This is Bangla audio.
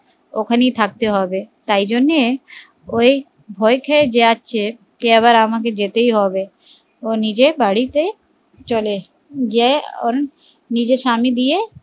ওখানে থাকতে হবে তাই জন্যে ওই ভয় খেয়ে যাচ্ছে যে আমাকে যেতেই হবে ও নিজের বাড়িতে চলে এসেছে যে নিজের স্বামী দিয়ে